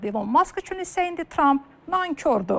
İlon Mask üçün isə indi Tramp nankordur.